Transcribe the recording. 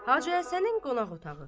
Hacı Həsənin qonaq otağı.